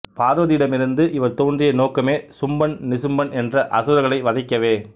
பார்வதியிடமிருந்து இவர் தோன்றிய நோக்கமே சும்பன் நிசும்பன் என்ற அசுரர்களை வதைக்கவே